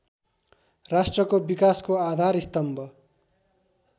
राष्ट्रको विकासको आधारस्तम्भ